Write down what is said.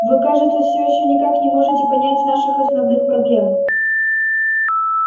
вы кажется всё ещё никак не можете понять наших основных проблем